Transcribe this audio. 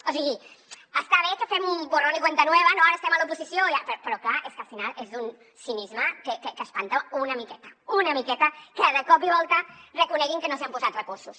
o sigui està bé que fem un borrón y cuenta nueva no que ara estem a l’oposició però clar és que al final és d’un cinisme que espanta una miqueta una miqueta que de cop i volta reconeguin que no s’hi han posat recursos